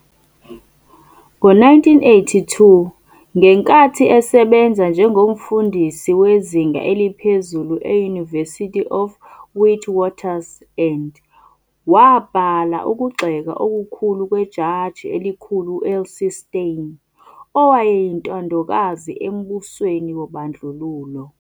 Ngo-1982, ngenkathi esebenza njengomfundisi wezinga eliphezulu e-University of Witwatersrand, wabhala ukugxeka okukhulu kweJaji eliKhulu u-LC Steyn, owayeyintandokazi embusweni wobandlululo.